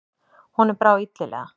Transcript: Honum brá illilega.